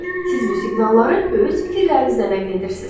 Siz bu siqnalları öz fikirlərinizlə nəql edirsiz.